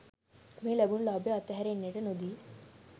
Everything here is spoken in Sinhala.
මේ ලැබුණ ලාභය අත්හැරෙන්නට නොදී